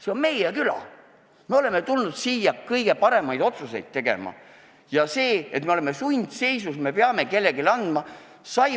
See on meie küla, me oleme tulnud siia kõige paremaid otsuseid tegema ja me oleme sundseisus, me peame selle ülesande kellelegi andma.